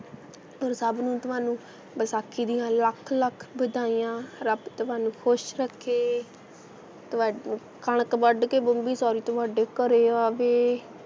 ਅੋਰ ਸਭ ਨੂੰ ਤੁਹਾਨੂੰ ਵਿਸਾਖੀ ਦੀਆਂ ਲੱਖ ਲੱਖ ਵਧਾਈਆਂ ਰੱਬ ਤੁਹਾਨੂੰ ਖੁਸ਼ ਰੱਖੇ, ਤੁਹਾਨੂੰ ਕਣਕ ਵੱਡ ਕੇ ਬੰਬੀ ਸਾਰੀ ਤੁਹਾਡੇ ਘਰੇ ਆਵੇ,